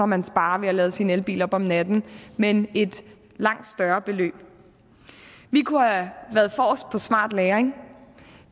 man sparer ved at lade sin elbil op om natten men et langt større beløb vi kunne have været forrest på smart lagring